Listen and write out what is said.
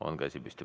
On käsi püsti.